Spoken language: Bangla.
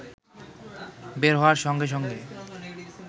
বের হওয়ার সঙ্গে সঙ্গে